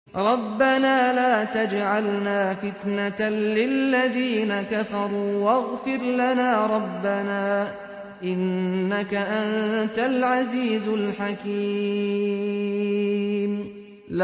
رَبَّنَا لَا تَجْعَلْنَا فِتْنَةً لِّلَّذِينَ كَفَرُوا وَاغْفِرْ لَنَا رَبَّنَا ۖ إِنَّكَ أَنتَ الْعَزِيزُ الْحَكِيمُ